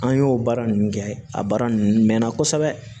An y'o baara ninnu kɛ a baara ninnu mɛnna kosɛbɛ